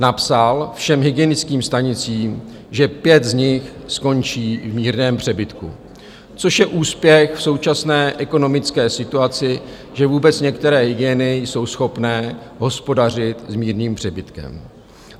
Napsal všem hygienickým stanicím, že pět z nich skončí v mírném přebytku, což je úspěch v současné ekonomické situaci, že vůbec některé hygieny jsou schopné hospodařit s mírným přebytkem.